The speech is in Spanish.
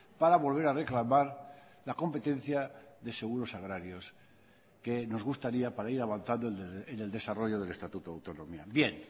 para volver a reclamar la competencia de seguros agrarios que nos gustaría para ir avanzando en el desarrollo del estatuto de autonomía bien